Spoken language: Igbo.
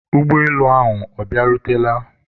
ụgbọelu ahụ ọ bịarutela?